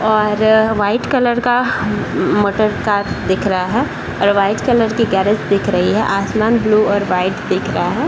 और white colour का motor car दिख रहा है और वाइट कलर की गेरेज दिख रही है आसमान ब्लू और वाइट दिख रहा है।